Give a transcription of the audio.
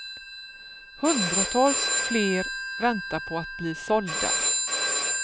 Hundratals fler väntar på att bli sålda.